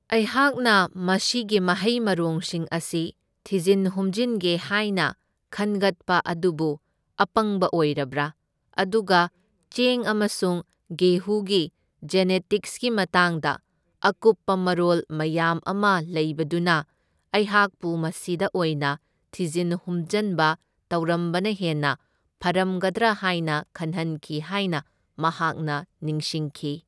ꯑꯩꯍꯛꯅ ꯃꯁꯤꯒꯤ ꯃꯍꯩ ꯃꯔꯣꯡꯁꯤꯡ ꯑꯁꯤ ꯊꯤꯖꯤꯟ ꯍꯨꯝꯖꯤꯟꯒꯦ ꯍꯥꯏꯅ ꯈꯟꯒꯠꯄ ꯑꯗꯨꯕꯨ ꯑꯄꯪꯕ ꯑꯣꯏꯔꯕ꯭ꯔꯥ? ꯑꯗꯨꯒ ꯆꯦꯡ ꯑꯃꯁꯨꯡ ꯒꯦꯍꯨꯒꯤ ꯖꯦꯅꯦꯇꯤꯛꯁꯀꯤ ꯃꯇꯥꯡꯗ ꯑꯀꯨꯞꯄ ꯃꯔꯣꯜ ꯃꯌꯥꯝ ꯑꯃ ꯂꯩꯕꯗꯨꯅ ꯑꯩꯍꯥꯛꯄꯨ ꯃꯁꯤꯗ ꯑꯣꯏꯅ ꯊꯤꯖꯤꯟ ꯍꯨꯝꯖꯟꯕ ꯇꯧꯔꯝꯕꯅ ꯍꯦꯟꯅ ꯐꯔꯝꯒꯗ꯭ꯔꯥ ꯍꯥꯏꯕ ꯈꯟꯍꯟꯈꯤ ꯍꯥꯏꯅ ꯃꯍꯥꯛꯅ ꯅꯤꯡꯁꯤꯡꯈꯤ꯫